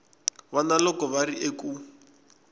vana loko va ri eku